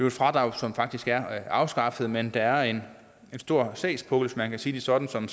et fradrag som faktisk er afskaffet men der er en stor sagspukkel hvis man kan sige det sådan som